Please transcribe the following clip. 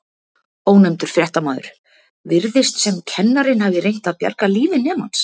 Ónefndur fréttamaður: Virðist sem kennarinn hafi reynt að bjarga lífi nemans?